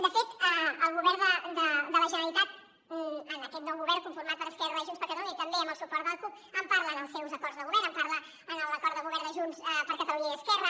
de fet el govern de la generalitat en aquest nou govern conformat per esquerra i junts per catalunya i també amb el suport de la cup en parla en els seus acords de govern en parla en l’acord de govern de junts per catalunya i esquerra